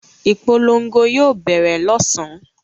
Ìpolongo yóò bẹ̀rẹ̀ lọ́sàn-án.